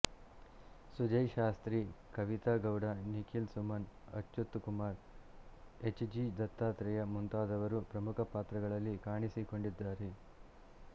Sujay Shastri Kavitha Gowda Nikhila Suman Achyuth Kumar H G Dattatreya ಮುಂತಾದವರು ಪ್ರಮುಖ ಪಾತ್ರಗಳಲ್ಲಿ ಕಾಣಿಸಿಕೊಂಡಿದ್ದಾರೆ